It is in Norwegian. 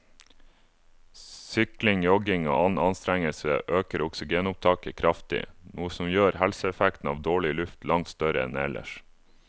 Sykling, jogging og annen anstrengelse øker oksygenopptaket kraftig, noe som gjør helseeffekten av dårlig luft langt større enn ellers.